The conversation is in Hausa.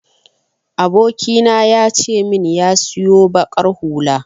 Abokina ya ce min ya siyo baƙar hula.